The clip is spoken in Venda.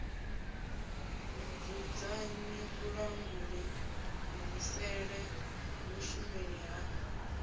mudzudzanyi vhulanguli kuvhusele vhushumeli ha